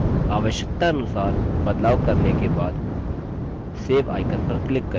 आवश्यकतानुसार बदलाव करने के बाद save icon पर click करें